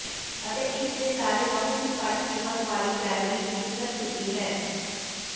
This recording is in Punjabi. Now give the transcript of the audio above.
ਅਤੇ ਇਸ ਦੇ ਸਾਰੇ ਬਹੁਤ ਹੀ ਘੱਟ ਕੀਮਤ ਵਾਲੀ ਕੈਲੋਰੀ ਦੀ ਸਿਹਤ ਛੁੱਟੀ ਹੈ